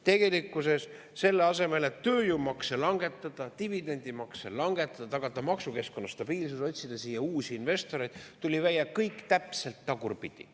Tegelikkuses selle asemel, et tööjõumakse langetada, dividendimakse langetada, tagada maksukeskkonna stabiilsus, otsida siia uusi investoreid, tuli välja kõik täpselt tagurpidi.